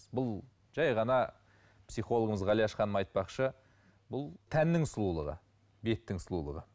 бұл жәй ғана психологымыз ғалияш ханым айтпақшы бұл тәннің сұлулығы беттің сұлулығы